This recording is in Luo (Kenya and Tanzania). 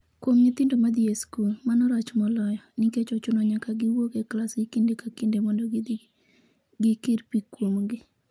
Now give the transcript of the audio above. Kuom nyithindo madhi e skul, mano rach moloyo, nikech ochuno nyaka giwuok e klasgi kinde ka kinde mondo gidhi gikir pi kuomgi